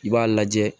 I b'a lajɛ